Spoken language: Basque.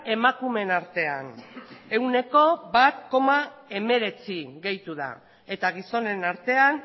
emakumeen artean ehuneko bat koma hemeretzi gehitu da eta gizonen artean